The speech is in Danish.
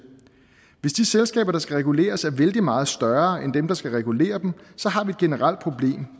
hvis de selskaber der skal reguleres er vældig meget større end dem der skal regulere dem så har vi et generelt problem